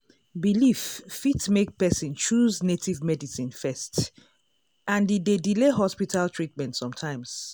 belief fit make person choose native medicine first and e dey delay hospital treatment sometimes.